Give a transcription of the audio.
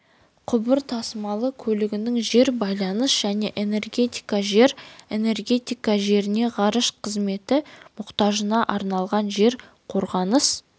құбыр тасымалы көлігінің жер байланыс және энергетика жер энергетика жеріне ғарыш қызметі мұқтажына арналған жер қорғаныс